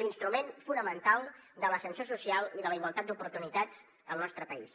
l’instrument fonamental de l’ascensor social i de la igualtat d’oportunitats al nostre país